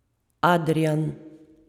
Adrijan.